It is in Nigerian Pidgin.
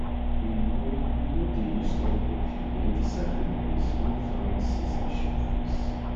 we no no dey use strong perfume near di sacred place wen farming season show face